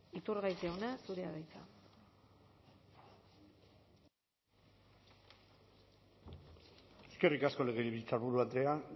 iturgaiz jauna zurea da hitza eskerrik asko legebiltzarburu andrea